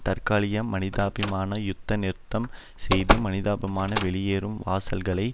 தற்காலிக மனிதாபிமான யுத்த நிறுத்தம் செய்து மனிதாபிமான வெளியேறும் வாசல்களை